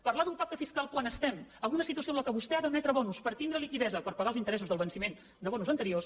parlar d’un pacte fiscal quan estem en una situació en què vostè ha d’admetre bons per tindre liquiditat per pagar els interessos del venciment de bons anteriors